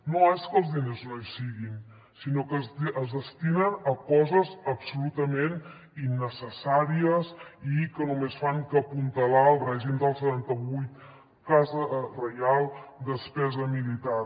no és que els diners no hi siguin sinó que es destinen a coses absolutament innecessàries i que només fan que apuntalar el règim del setanta vuit casa reial despesa militar